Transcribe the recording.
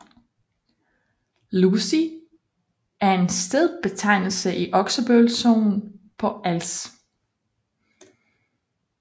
Lusig er en stedbetegnelse i Oksbøl Sogn på Als